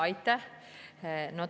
Aitäh!